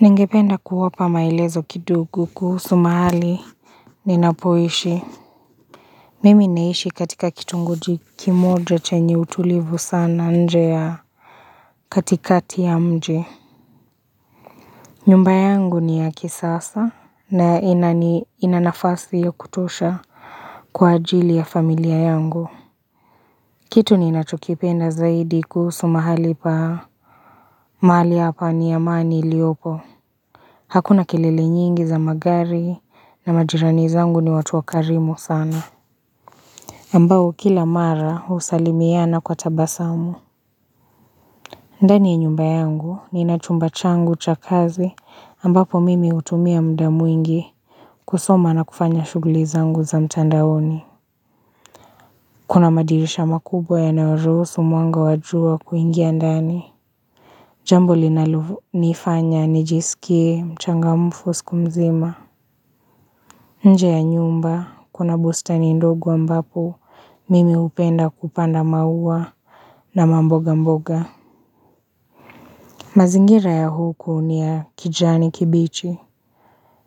Ningependa kuwapa maelezo kidogo kuhusu mahali ninapoishi. Mimi naishi katika kitongoji kimoja chenye utulivu sana nje ya katikati ya mje. Nyumba yangu ni ya kisasa na inanafasi ya kutosha kwa ajili ya familia yangu. Kitu ninachokipenda zaidi kuhusu mahali pa mali hapa ni ya mani iliopo. Hakuna kelele nyingi za magari na majirani zangu ni watu wakarimo sana. Ambao kila mara usalimiana kwa tabasamu. Ndani nyumba yangu nina chumba changu cha kazi ambapo mimi utumia mda muingi kusoma na kufanya shuguli zangu za mtandaoni. Kuna madirisha makubwa yanaorusu mwanga wa jua kuingia ndani. Jambo linalonifanya nijisikie mchangamfu siku mzima. Nje ya nyumba, kuna bustani ndogo ambapo, mimi upenda kupanda maua na mboga mboga. Mazingira ya huko ni ya kijani kibichi.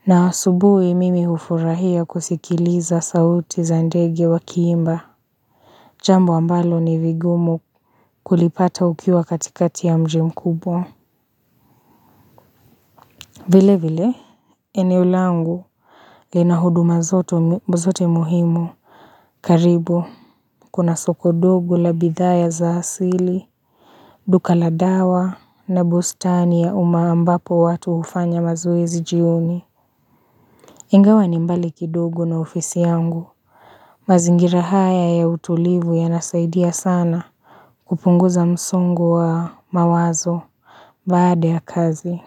Na asubuwi mimi ufurahia kusikiliza sauti za ndege wakiimba. Jambo ambalo ni vigumu kulipata ukiwa katikati ya mji mkubwa. Vile vile, eneo langu. Lina huduma zote mbuzote muhimu. Karibu, kuna soko dogo la bidhaya za asili duka la dawa na bustani ya umaa ambapo watu ufanya mazoezi jioni Ingawa ni mbali kidugo na ofisi yangu mazingira haya ya utulivu yanasaidia sana kupunguza msongo wa mawazo Baada ya kazi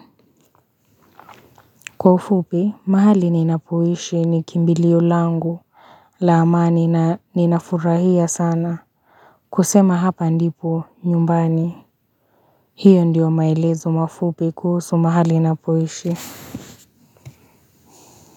Kwa ufupi, mahali ninapowishi ni kimbilio langu la amani na ninafurahia sana kusema hapa ndipo nyumbani, hiyo ndiyo maelezo mafupi kuhusu mahali napoishi.